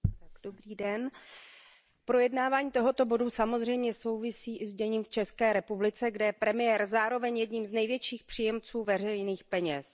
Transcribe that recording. Paní předsedající, projednávání tohoto bodu samozřejmě souvisí i s děním v České republice, kde je premiér zároveň jedním z největších příjemců veřejných peněz.